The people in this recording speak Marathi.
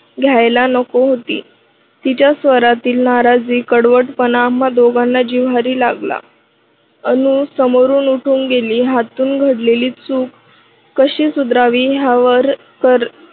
घ्यायला नको होती. तिच्या स्वरातील नाराजी कडवटपणा आम्हा दोघांना जिव्हारी लागला. अनु समोरून उठून गेली. यातून घडलेली चूक कशी सुधारावी यावर कर